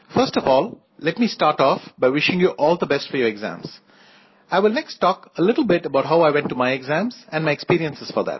first of all let me start off by wishing you all the best for your exams I will next talk a little bit about how I went to my exams and my experience for that